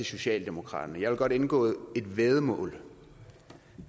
socialdemokraterne jeg vil godt indgå et væddemål